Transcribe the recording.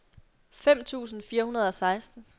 fem tusind fire hundrede og seksten